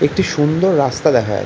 একটি সুন্দর রাস্তা দেখা যাচ্ছে।